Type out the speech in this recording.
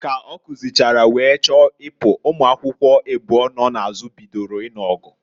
Ka ọ kuzichara, wee chọọ ịpụ, ụmụakwukwo ịbụọ nọ n'azụ bidoro ịnụ ọgụ.